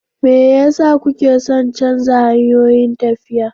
Me yasa kuke son canza hanyoyin tafiya.